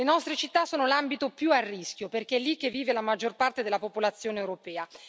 Le nostre città sono l'ambito più a rischio, perché è lì che vive la maggior parte della popolazione europea.